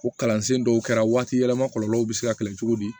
O kalansen dɔw kɛra waati yɛlɛma kɔlɔlɔw be se ka kɛlɛ cogo di